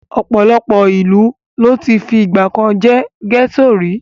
Ọ̀pọ̀ ìlú ló ti fìgbà kan jẹ́ gẹ́tò rí.